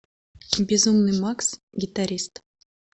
безумный макс гитарист